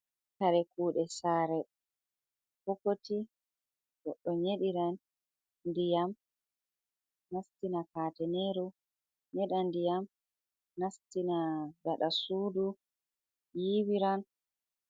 Kare kuɗe sare. Bokoti goɗɗo nyeɗiran ndiyam nastina kateneru, nyeda ndiyam nastina gaɗaa sudu yiwiran.